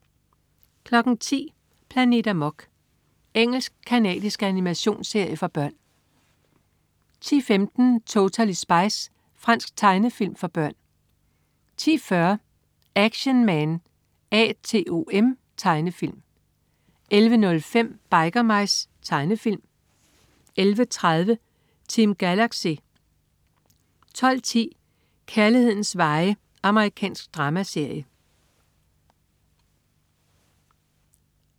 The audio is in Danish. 10.00 Planet Amok. Engelsk-canadisk animationsserie for børn 10.15 Totally Spies. Fransk tegnefilm for børn 10.40 Action Man A.T.O.M. Tegnefilm 11.05 Biker Mice. Tegnefilm 11.30 Team Galaxy 12.10 Kærlighedens veje. Amerikansk dramaserie